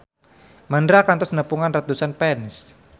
Mandra kantos nepungan ratusan fans